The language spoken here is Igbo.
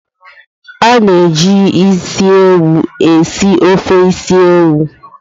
A ga-eji isi ewu esi ofe ose isi ewu.